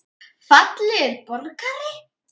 Fallegur borgari?